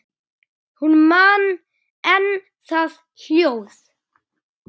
Hún man enn það hljóð.